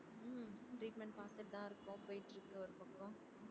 ஹம் treatment பாத்துட்டுதான் இருக்கோம் போய்ட்டுருக்கு ஒரு பக்கம்